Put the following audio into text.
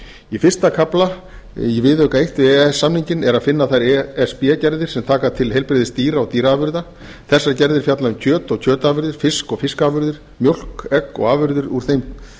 í fyrsta kafla í viðauka eins við e e s samninginn er að finna þær e s b gerðir sem taka til heilbrigðis dýra og dýraafurða þessar gerðir fjalla um kjöt og kjötafurðir fisk og fiskafurðir mjólk egg og afurðir úr þeim